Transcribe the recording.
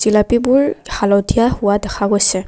জিলাপিবোৰ হালধীয়া হোৱা দেখা গৈছে।